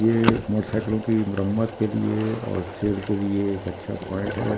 ये एक मोटरसाइकिलो की मरम्मत के लिए और सिर के लिए एक अच्छा पॉइंट है ।